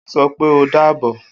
O sopé o dàbọ̀